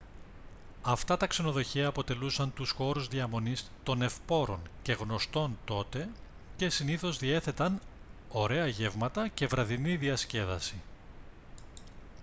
αυτά τα ξενοδοχεία αποτελούσαν τους χώρους διαμονής των ευπόρων και γνωστών τότε και συνήθως διέθεταν ωραία γεύματα και βραδινή διασκέδαση